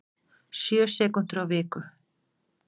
Sjö sekúndur á viku